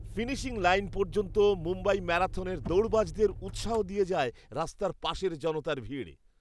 Finishing line পর্যন্ত মুম্বাই ম্যারাথনের দৌড়বাজদের উৎসাহ দিয়ে যায় রাস্তার পাশের জনতার ভিড়।